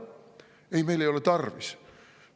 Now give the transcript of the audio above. Ei, meil ei ole tarvis!